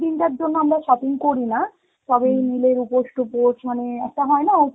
দিনটার জন্য আমরা shopping করিনা, তবে নীলের উপোষ টুপোষ মানে একটা হয় না